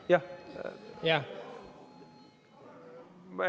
Jaa, ikka.